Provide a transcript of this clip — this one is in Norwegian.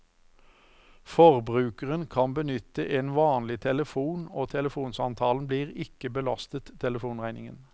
Forbrukeren kan benytte en vanlig telefon og telefonsamtalen blir ikke belastet telefonregningen.